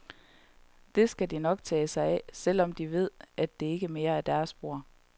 Det skal de nok tage sig af, selvom de ved, at det ikke mere er deres bord.